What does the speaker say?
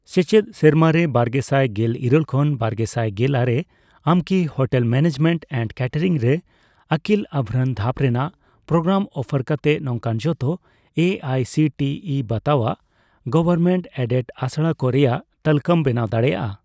ᱥᱮᱪᱮᱫ ᱥᱮᱨᱢᱟᱨᱮ ᱵᱟᱨᱜᱮᱥᱟᱭ ᱜᱮᱞ ᱤᱨᱟᱹᱞ ᱠᱷᱚᱱ ᱵᱟᱨᱜᱮᱥᱟᱭ ᱜᱮᱞᱟᱨᱮ ᱟᱢᱠᱤ ᱦᱳᱴᱮᱞ ᱢᱮᱱᱮᱡᱢᱮᱱᱴ ᱮᱱᱰ ᱠᱮᱴᱮᱨᱤᱝ ᱨᱮ ᱟᱹᱠᱤᱞ ᱟᱵᱷᱨᱟᱱ ᱫᱷᱟᱯ ᱨᱮᱱᱟᱜ ᱯᱨᱳᱜᱨᱟᱢ ᱚᱯᱷᱟᱨ ᱠᱟᱛᱮ ᱱᱚᱝᱠᱟᱱ ᱡᱷᱚᱛᱚ A I C T E ᱵᱟᱛᱟᱣᱟᱜ ᱜᱚᱵᱷᱚᱨᱢᱮᱱᱴᱼᱮᱰᱮᱰ ᱟᱥᱲᱟᱠᱚ ᱨᱮᱭᱟᱜ ᱛᱟᱞᱠᱟᱹᱢ ᱵᱮᱱᱟᱣ ᱫᱟᱲᱮᱭᱟᱜᱼᱟ ?